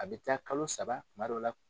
A bɛ taa kalo saba tuma dɔw la